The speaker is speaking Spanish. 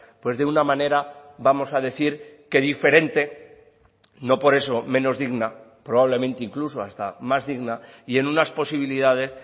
pues de una manera vamos a decir que diferente no por eso menos digna probablemente incluso hasta más digna y en unas posibilidades